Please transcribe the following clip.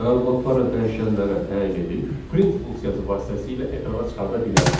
məlumatları dəyişənlərə təyin edib print funksiyası vasitəsilə ekrana çıxarda bilərdik.